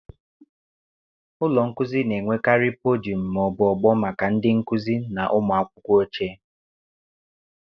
Ụlọ nkuzi na-enwekarị podiọm ma ọ bụ ogbo maka ndị nkuzi na ụmụ akwụkwọ oche.